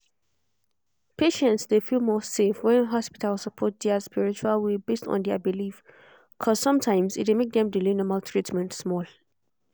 patients dey feel more safe when hospital support their spiritual way based on their belief.cause sometimes e dey make dem delay normal treatment small.